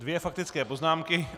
Dvě faktické poznámky.